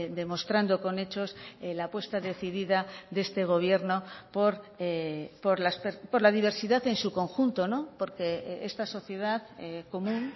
demostrando con hechos la apuesta decidida de este gobierno por la diversidad en su conjunto porque esta sociedad común